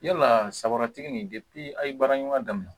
Yala sabati nin a' ye baara ɲuman daminɛ